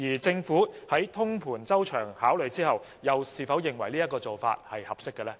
政府在通盤周詳考慮後，又是否認為這做法合適？